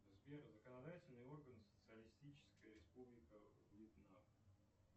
сбер законодательные органы социалистическая республика вьетнам